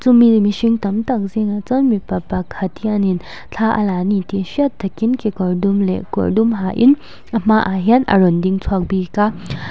mi mihring tam tak zîngah chuan mipa pakhat hianin thla a la a ni tih hriat takin kekawr dum leh kawr dum hain a hmaah hian a rawn ding chhuak bîk a.